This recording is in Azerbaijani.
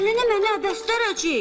Əlini mənə əbəst eləyəcək.